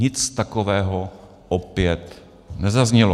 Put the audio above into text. Nic takového opět nezaznělo.